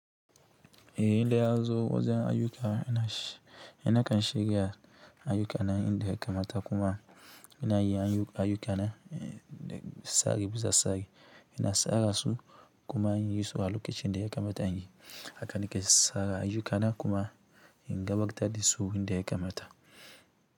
Eh, indai ya zo wajen ayyuka ni na kan shiga ayuka na inda ya kamata kuma ina iya yin ayuka na sari bisa sari, ina sara su kuma in yi su a lokacin da ya kamata in yi aka nike sara ayyukana kuma in gabatar da su inda ya kamata.